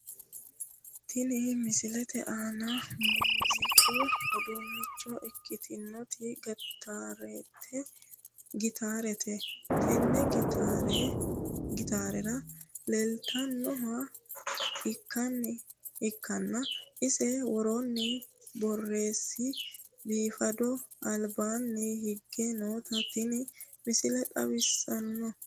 Tini misilete aaniti muuziiqu uduunnicho ikkitinoti gitaarete tenne gitaarra leeltannoha ikkanna ise worranni borsi biifadu albaanni hige noota Tini misile xawissanno.